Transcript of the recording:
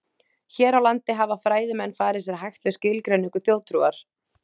Hér á landi hafa fræðimenn farið sér hægt við skilgreiningu þjóðtrúar.